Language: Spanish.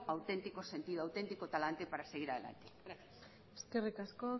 auténtico sentido auténtico talante para seguir adelante gracias eskerrik asko